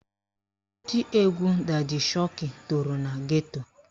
Oti egwu dadi shoki toro na geto